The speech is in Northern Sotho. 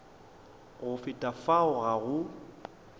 go feta fao ga go